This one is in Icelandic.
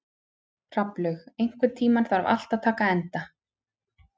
Hrafnlaug, einhvern tímann þarf allt að taka enda.